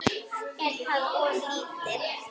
Er það of lítið?